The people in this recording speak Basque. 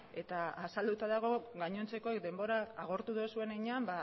eta azalduta dago gainontzeko denbora agortu duzun heinean